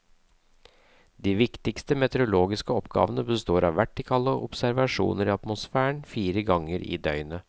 De viktigste meteorologiske oppgavene består av vertikale observasjoner i atmosfæren fire ganger i døgnet.